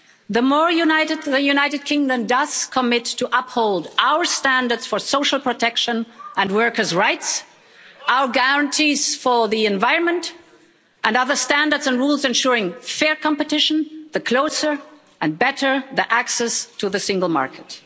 The more united the United Kingdom does commit to uphold our standards for social protection and workers' rights, our guarantees for the environment and other standards and rules ensuring fair competition, the closer and better the access to the single market.